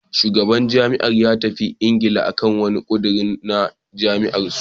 Shugaban jam'iyyar ya tafi Ingila akan wani ƙudiri na jam'iyyar su.